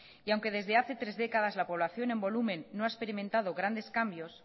y aunque desde hace tres décadas la población en volumen no ha experimentado varios cambios